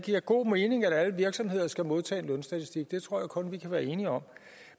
giver god mening at alle virksomheder skal modtage en lønstatistik det tror jeg kun vi kan være enige om